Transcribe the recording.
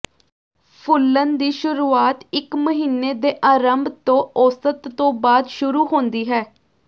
ਫੁਲਣ ਦੀ ਸ਼ੁਰੂਆਤ ਇਕ ਮਹੀਨੇ ਦੇ ਅਰੰਭ ਤੋਂ ਔਸਤ ਤੋਂ ਬਾਅਦ ਸ਼ੁਰੂ ਹੁੰਦੀ ਹੈ